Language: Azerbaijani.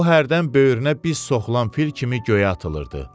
O hərdən böyrünə biz soxulan fil kimi göyə atılırdı.